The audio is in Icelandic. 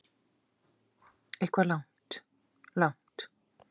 Við vorum að leggja lokahönd á þetta og það gekk bara ágætlega.